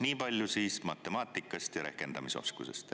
Nii palju matemaatikast ja rehkendamise oskusest.